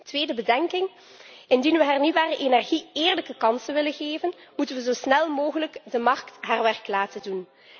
Tweede bedenking indien we hernieuwbare energie eerlijke kansen willen geven, moeten we zo snel mogelijk de markt haar werk laten doen.